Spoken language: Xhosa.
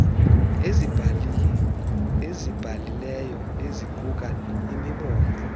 azibhalileyo eziquka imibongo